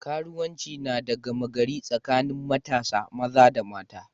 Karuwanci na da gama gari tsakanin matasa maza da mata.